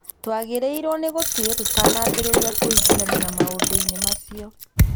Twagĩrĩirũo nĩ gũtuĩria tũtanambĩrĩria kwĩingĩrania na maũndũ-inĩ macio